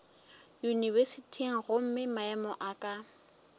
yunibesithing gomme maemo a ka